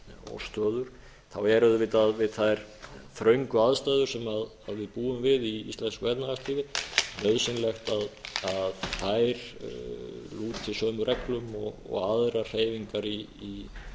og stöður er auðvitað við þær þröngu aðstæður sem við búum við í íslensku efnahagslífi nauðsynlegt að þær lúti sömu reglum og aðrar hreyfingar í